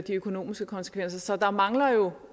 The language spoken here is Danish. økonomiske konsekvenser så der mangler jo